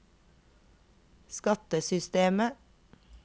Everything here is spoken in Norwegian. skattesystemet